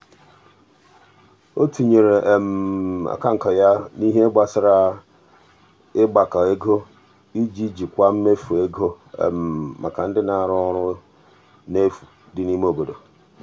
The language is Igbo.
o tinyere akanka ya n'ihe gbasara ịgbakọ ego iji jikwaa mmefu ego maka otu ndị na-arụ ọrụ n'efu dị n'ime obodo.